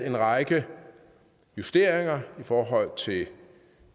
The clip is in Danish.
en række justeringer i forhold til